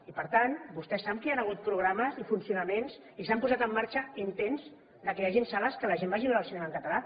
i per tant vostès saben que hi han hagut programes i funcionaments i s’han posat en marxa intents que hi hagin sales en què la gent vagi a veure el cinema en català